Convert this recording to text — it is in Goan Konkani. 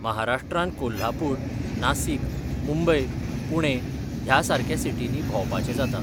महाराष्ट्रान कोल्हापूर, नासीक, मुंबई, पुणे, ह्या सारक्या सिटीनी भोंवपाचें जाता.